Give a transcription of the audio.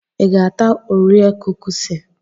Ịga-ata orea kukisi?